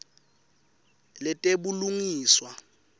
letebulungiswa